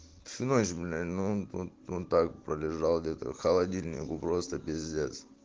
всю ночь бля ну он он так пролежал где-то холодильнику просто пиздец